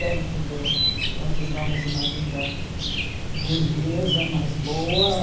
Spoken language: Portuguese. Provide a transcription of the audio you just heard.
Dentro do... Nós levamos uma vida burguesa, mas boa.